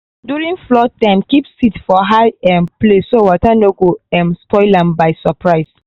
during flood time keep seed for high um place so water no go um spoil am by surprise.